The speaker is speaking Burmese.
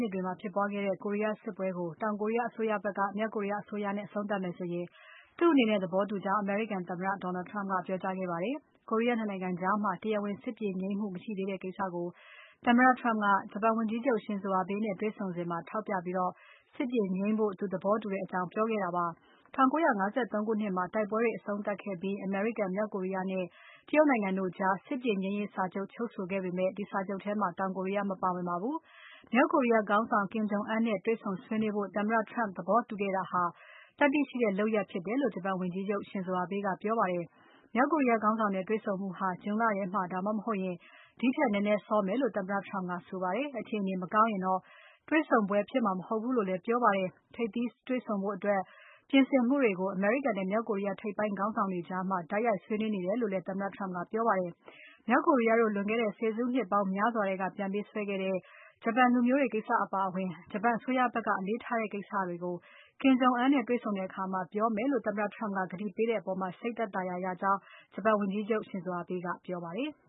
နှစ်တွေမှာဖြစ်ပွားခဲ့တဲ့ ကိုရီးယားစစ်ပွဲကို တောင်ကိုရီးယားအစိုးရဖက်က မြောက်ကိုရီးယားအစိုးရနဲ့ အဆုံးသတ်မယ်ဆိုရင် သူ့အနေနဲ့သဘောတူကြောင်း အမေရိကန်သမ္မတ Donald Trump ကပြောကြားခဲ့ပါတယ်။ ကိုရီးယား ၂ နိုင်ငံကြားမှာ တရားဝင်စစ်ပြေငြိမ်းမှု မရှိသေးတဲ့ကိစ္စကို သမ္မတ Trump ကဂျပန်ဝန်ကြီးချုပ် Shinzo Abe နဲ့ တွေ့ဆုံစဉ်မှာထောက်ပြပြီး စစ်ပြေငြိမ်းဖို့သူသဘောတူကြောင်းပြောခဲ့တာပါ။ ၁၉၅၃ ခုနှစ်မှာ တိုက်ပွဲတွေ အဆုံးသတ်ခဲ့ပြီး အမေရိကန်။ မြောက်ကိုရီးယားနဲ့ တရုတ်နိုင်ငံတို့ကြား စစ်ပြေငြိမ်းရေးစာချုပ် ချုပ်ဆိုခဲ့ပေမဲ့။ အဲဒီစာချုပ်ထဲမှာ တောင်ကိုရီးယား မပါဝင်ပါဘူး။ မြောက်ကိုရီးယားခေါင်းဆောင် Kim Jong Un နဲ့ တွေ့ဆုံဆွေးနွေးဖို့ သမ္မတ Trump သဘောတူခဲ့တာဟာ သတ္တိရှိတဲ့လုပ်ရပ်ဖြစ်တယ်လို့ ဂျပန်ဝန်ကြီးချုပ် Shinzo Abe ကပြောပါတယ်။ ခေါင်းဆောင် ၂ ဦးတွေ့ဆုံမှုဟာ ဇွန်လထဲမှာ ဒါမှမဟုတ် အဲဒီထက်နည်းနည်းစောမယ်လို့ သမ္မတ Trump ကပြောပါတယ်။ အခြေအနေမကောင်းရင်တော့ တေ့ွဆုံပွဲဖြစ်မှာမဟုတ်ဘူးလို့လည်း ဆိုပါတယ်။ ထိပ်သီးတွေ့ဆုံပွဲအတွက် ပြင်ဆင်မှုတွေကို အမေရိကန်နဲ့ မြောက်ကိုရီးယား ထိပ်ပိုင်းခေါင်းဆောင်တွေကြား တိုက်ရိုက်ဆွေးနွေးနေတယ်လို့လည်း သမ္မတ Trump ကဆိုပါတယ်။ မြောက်ကိုရီးယားတို့ လွန်ခဲ့တဲ့ ဆယ်စုနှစ်ပေါင်းများစွာက ပြန်ပေးဆွဲသွားတဲ့ ဂျပန်လူမျိုးတွေကိစ္စအပါအဝင် ဂျပန်အစိုးရကဖက်က အလေးထားတဲ့ကိစ္စတွေကို Kim Jong Un နဲ့တွေ့တဲ့အခါပြောမယ်လို့ သမ္မတ Trump ကကတိပေးတဲ့အပေါ် စိတ်သက်သာရာရတယ်လို့ ဂျပန်ဝန်ကြီးချုပ် Abe ကပြောပါတယ်။